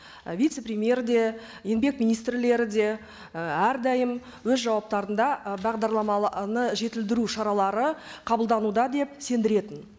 і вице премьер де еңбек министрлері де і әрдайым өз жауаптарында і бағдарлама жетілдіру шаралары қабылдануда деп сендіретін